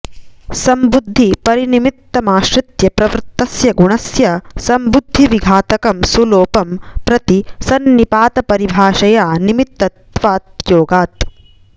संबुद्धि परनिमित्तमाश्रित्य प्रवृत्तस्य गुणस्य संबुद्धिविघातकं सुलोपं प्रति संनिपातपरिभाषया निमित्तत्वाऽयोगात्